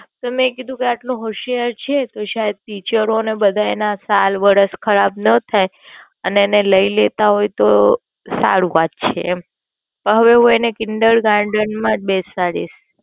મેં કીધું કે આટલો હોશિયાર છે તો ટીચરો ના બધાય ના સાલ વર્ષ ખરાબ નો થાઈ અને એને લઇ લેતા હોઈ તો સારું પછી એમ હવે હું એને Children's Garden માં જ બેસાડીશ.